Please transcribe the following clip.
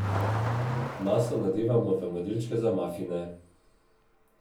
Maso nadevamo v modelčke za mafine.